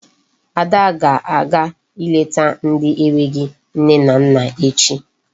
Ada ga-aga ileta ndị enweghị nne na nna echi.